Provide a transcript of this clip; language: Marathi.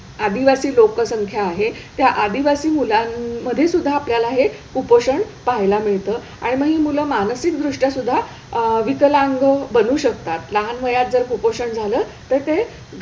आदिवासी लोकसंख्या आहे त्या आदिवासी मुलांमध्ये सुद्धा आपल्याला हे कुपोषण पहायला मिळतं आणि मग ही मुलं मानसिक दृष्ट्यासुद्धा अह विकलांग बनू शकतात, लहान वयात जर कुपोषण झालं तर ते,